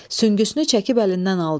Süngüsünü çəkib əlindən aldı.